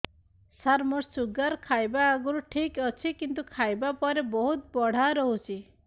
ସାର ମୋର ଶୁଗାର ଖାଇବା ଆଗରୁ ଠିକ ଅଛି କିନ୍ତୁ ଖାଇବା ପରେ ବହୁତ ବଢ଼ା ରହୁଛି